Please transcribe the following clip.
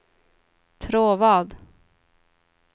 Tråvad